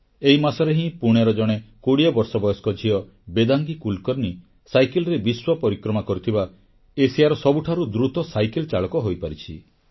ଏହି ମାସରେ ହିଁ ପୁଣେର ଜଣେ 20 ବର୍ଷ ବୟସ୍କ ଝିଅ ବେଦାଙ୍ଗୀ କୁଲକର୍ଣ୍ଣୀ ସାଇକେଲରେ ବିଶ୍ୱପରିକ୍ରମା କରିଥିବା ଏସିଆର ସବୁଠାରୁ ଦ୍ରୁତ ସାଇକେଲଚାଳକ ହୋଇପାରିଛି